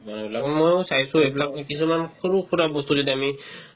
মানুহবিলাকক ময়ো চাইছো এইবিলাকৰ কিছুমান সৰুসুৰা বস্তু যেতিয়া তুমি